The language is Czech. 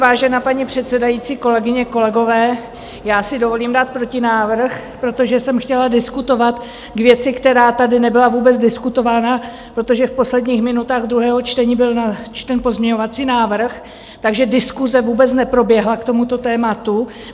Vážená paní předsedající, kolegyně, kolegové, já si dovolím dát protinávrh, protože jsem chtěla diskutovat k věci, která tady nebyla vůbec diskutována, protože v posledních minutách druhého čtení byl načten pozměňovací návrh, takže diskuse vůbec neproběhla k tomuto tématu.